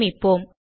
சேமிப்போம்